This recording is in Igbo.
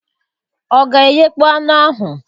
Ọ ga eghekpo anụ ahụ?